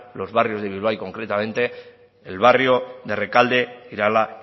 los barrios de bilbao y concretamente el barrio de rekalde irala